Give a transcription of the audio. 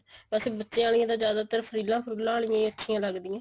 ਵੈਸੇ ਬੱਚਿਆ ਆਲੀ ਜਿਆਦਾਤਰ ਫ੍ਰੀਲਾ ਫ੍ਰੁਲਾ ਆਲਿਆਂ ਅੱਛੀਆਂ ਲਗਦੀਆਂ